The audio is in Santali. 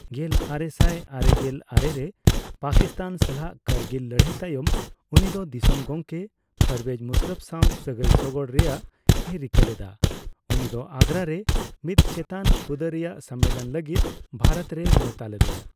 ᱜᱮᱞᱟᱨᱮᱥᱟᱭ ᱟᱨᱮᱜᱮᱞ ᱟᱨᱮ ᱨᱮ ᱯᱟᱹᱠᱤᱥᱛᱟᱱ ᱥᱟᱞᱟᱜ ᱠᱟᱹᱨᱜᱤᱞ ᱞᱟᱹᱲᱟᱹᱭ ᱛᱟᱭᱚᱢ, ᱩᱱᱤᱫᱚ ᱫᱤᱥᱚᱢ ᱜᱚᱢᱠᱮ ᱯᱟᱨᱵᱷᱮᱡᱽ ᱢᱩᱥᱟᱨᱚᱯᱷ ᱥᱟᱣ ᱥᱟᱹᱜᱟᱹᱭ ᱥᱳᱜᱳᱲ ᱨᱮᱭᱟᱜ ᱮ ᱨᱤᱠᱟᱹᱞᱮᱫᱟ, ᱩᱱᱤᱫᱚ ᱟᱜᱽᱜᱨᱟ ᱨᱮ ᱢᱤᱫ ᱪᱮᱛᱟᱱ ᱦᱩᱫᱟᱹᱨᱮᱭᱟᱜ ᱥᱚᱱᱢᱮᱞᱚᱱ ᱞᱟᱹᱜᱤᱫ ᱵᱷᱟᱨᱚᱛ ᱨᱮᱭ ᱱᱮᱣᱛᱟ ᱞᱮᱫᱮᱭᱟ ᱾